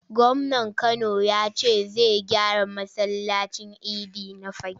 Gwamnan Kano ya ce zai gyara masallacin idi na Fagge.